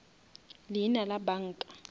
leina la banka